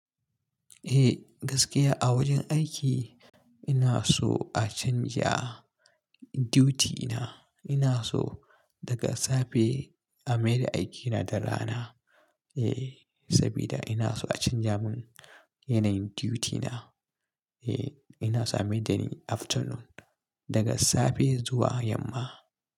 Eh gaskiya a wajen aiki ina so a canja duty na. Ina so daga safe a maida aikina da rana. Eh, sabida ina so a canja mun yanayin duty na. Eh ina so a maida ni afternoon daga safe zuwa yamma.